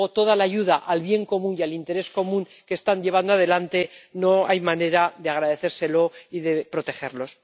desde luego, toda la ayuda al bien común y al interés común que están llevando adelante no hay manera de agradecérsela, y hay que protegerlos.